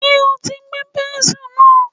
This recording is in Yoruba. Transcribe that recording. Ṣé o ti gbẹ́ pẹ́ńsù náà.